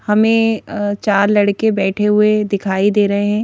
हमें अं चार लड़के बैठे हुए दिखाई दे रहे हैं।